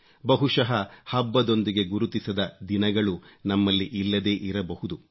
ಬಹುಶಃ ಹಬ್ಬದೊಂದಿಗೆ ಗುರುತಿಸದ ದಿನಗಳು ನಮ್ಮಲ್ಲಿ ಇಲ್ಲದೇ ಇರಬಹುದು